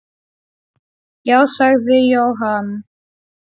Já, sagði Jóhann.